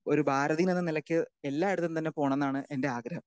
Speaker 2 ഒരു ഭാരതീയൻ എന്ന നിലക്ക് എല്ലായിടത്തും തന്നെ പോണം എന്നാണ് എൻറെ ആഗ്രഹം.